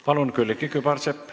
Palun, Külliki Kübarsepp!